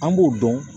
An b'o dɔn